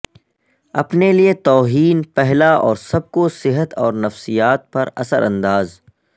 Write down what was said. اپنے لئے توہین پہلا اور سب کو صحت اور نفسیات پر اثر انداز